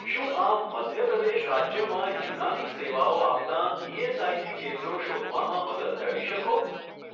શું આપ મધ્ય પ્રદેશ રાજ્યમાં યુનાની સેવાઓ આપતાં ઇએસઆઇસી કેન્દ્રો શોધવામાં મદદ કરી શકો?